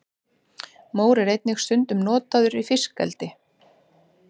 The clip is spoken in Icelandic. mór er einnig stundum notaður í fiskeldi